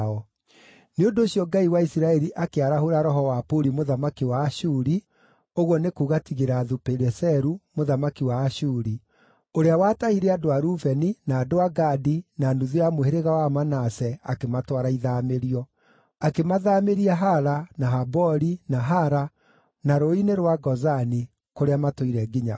Nĩ ũndũ ũcio Ngai wa Isiraeli akĩarahũra roho wa Puli mũthamaki wa Ashuri (ũguo nĩ kuuga Tigilathu-Pileseru, mũthamaki wa Ashuri), ũrĩa watahire andũ a Rubeni, na andũ a Gadi, na nuthu ya mũhĩrĩga wa Manase, akĩmatwara ithaamĩrio. Akĩmathaamĩria Hala, na Habori, na Hara, na rũũĩ-inĩ rwa Gozani, kũrĩa matũire nginya ũmũthĩ.